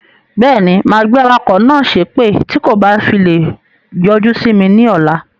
Beeni, máa gbé awakọ̀ náà sépè tí kò bá fi lè yọjú simi ni ọ̀la.